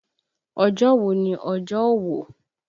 Ọjọ́ wo ni ọjọ́ òwò?